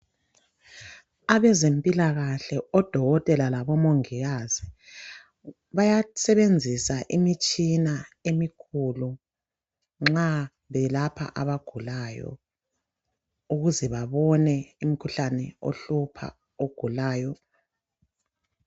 Abezempilakahle odokotela labomongikazi bayasebenzisa imitshina emikhulu nxa belapha abagulayo ukuze babone umkhuhlane ohlupha ogulayo.